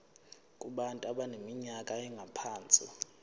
kubantu abaneminyaka engaphansi